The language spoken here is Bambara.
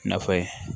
Nafa ye